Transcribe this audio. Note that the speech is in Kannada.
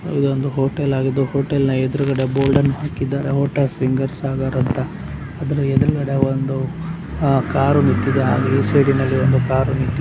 ಇದೊಂದು ಹೋಟೆಲ್ ಆಗಿದೆ ಹೋಟೆಲ್ನ ಎದುರುಗಡೆ ಬೋರ್ಡ್ಅನ್ನು ಹಾಕಿದ್ದಾರೆ ಹೋಟೆಲ್ ಸಾಗರ್ ಅಂತ ಅದರ ಎದುರುಗಡೆ ಒಂದು ಆಹ್ ಕಾರು ನಿಂತಿದೆ ಆ ಈ ಸೈಡಿನಲ್ಲಿ ಒಂದು ಕಾರು ನಿಂತಿದೆ.